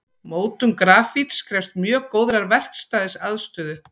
Mótun grafíts krefst mjög góðrar verkstæðisaðstöðu.